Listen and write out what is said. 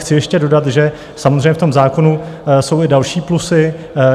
Chci ještě dodat, že samozřejmě v tom zákonu jsou i další plusy.